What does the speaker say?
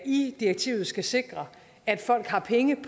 i direktivet skal sikre at folk har penge